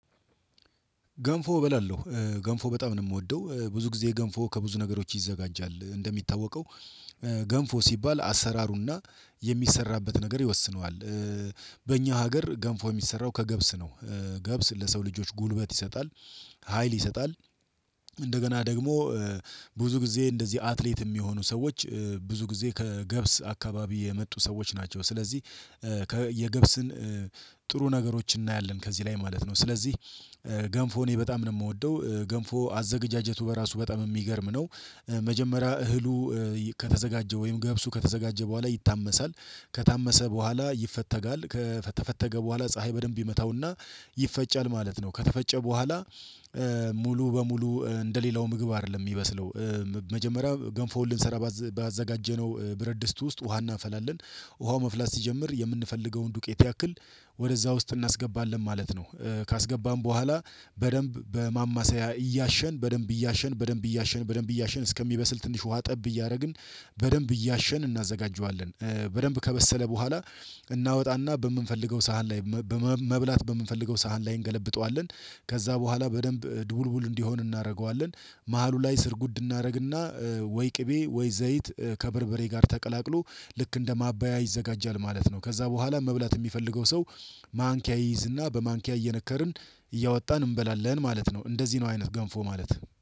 ገንፎ እበላለሁ ገንፎ በጣም ነው የምወደው። ብዙ ጊዜ ገንፎ ከብዙ ነገሮች ይዘጋጃል እንደሚታወቀው ገንፎ ሲባል አሰራሩና የሚሰራበት ነገር ይወስነዋል። በእኛ ሀገር ገንፎ የሚሰራው ከገብስ ነው። ገብስ ለሰው ልጆች ጉልበት ይሰጣል ሀይል ይሰጣል። እንደገና ደግሞ ብዙ ጊዜ እንደዚህ አትሌት የሚሆኑ ሰዎች ብዙ ጊዜ ከገብስ አካባቢ የመጡ ሰዎች ናቸው። ስለዚህ የገብስን ጥሩ ነገሮችን እናያለን ከዚህ ላይ ማለት ነው። ስለዚህ ገንፎ እኔ በጣም ነው የምወደው ገንፎ አዘገጃጀቱ በራሱ በጣም እሚገርም ነው። መጀመሪያ እህሉ ከተዘጋጀ ወይም ገብሱ ከተዘጋጀ በኋላ ይታመሳል ከታመሰ በኋላ ይፈተጋል ከተፈጨ በኋላ ፀሀይ በደንብ ይመታውና ይፈጫል ማለት ነው። ከተፈጨ በኋላ ሙሉ በሙሉ እንደሌላው ምግብ አይደለም የሚበስለው። መጀመሪያ ገንፎን ልንሰራ ባዘጋጀነው ብረድ ስት ውስጥ ውሃ እናፈላለን ውሃው መፍላት ሲጀምር የምንፈልገውን ዱቄት ያክል ወደዛ ውስጥ እናስገባለን ማለት ነው። ካስገባን በኋላ በደንብ በማማሰያ እያሸን በደንብ እያሸን በደንብ እያሸን በደንብ እያሸን እስከሚበስል ትንሽ ውሃ ጠብ እያደረግን በደንብ እያሸን እናዘጋጀዋለን። በደንብ ከበሰለ በኋላ እናወጣና በምንፈልገው ሳህን ላይ በመብላት በምንፈልገው ሳህን ላይ እንገለብጠዋለን። ከዛ በኋላ በደንብ ድውልውል እንዲሆን እናደርገዋለን። መሃሉ ላይ ስር ጉድ እናደርግና ወይ ቅቤ ወይ ዘይት ከበርበሬ ጋር ተቀላቅሎ ልክ እንደ ማባያ ይዘጋጃል ማለት ነው። ከዛ በኋላ መብላት የሚፈልገው ሰው ማንኪያ ይይዝና በማንኪያ እየነከርን እያወጣን እንበላለን ማለት ነው። እንደዚህ ነው አይነት ገንፎ ማለት